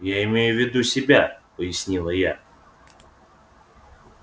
я имею в виду себя пояснила я